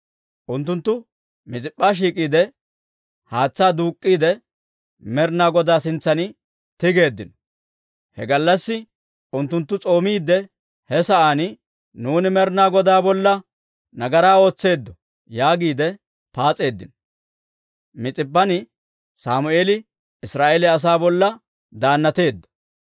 Unttunttu Mis'ip'p'a shiik'iide haatsaa duuk'k'iide, Med'inaa Godaa sintsan tigeeddino; he gallassi unttunttu s'oomiidde he sa'aan, «Nuuni Med'inaa Godaa bolla nagaraa ootseeddo» yaagiide paas'eeddino. Mis'ip'p'an Sammeeli Israa'eeliyaa asaa bolla daannateedda.